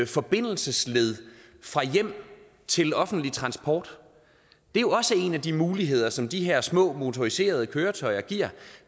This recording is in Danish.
forbindelsesled fra hjem til offentlig transport det er jo også en af de muligheder som de her små motoriserede køretøjer giver